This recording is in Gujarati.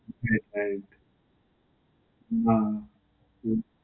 right. ના. હમ્મ.